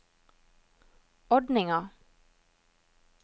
ordninga